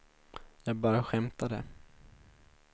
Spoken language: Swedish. jag bara skämtade